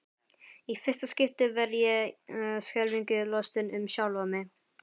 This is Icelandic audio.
Í fyrsta skipti verð ég skelfingu lostin um sjálfa mig.